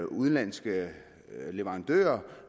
udenlandske leverandører